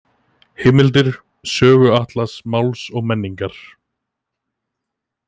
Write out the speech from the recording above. Heimildir: Söguatlas Máls og menningar.